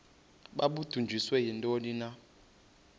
babudunjiswe yintoni na